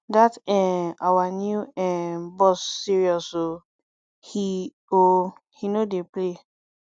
dat um our new um boss serious oo he oo he no dey play